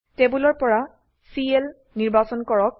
টেবোলৰ পৰা চিএল নিৰ্বাচন কৰক